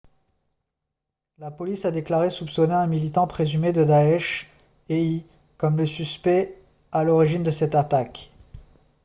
la police a déclaré soupçonner un militant présumé de daesh éi comme le suspect à l'origine de cette attaque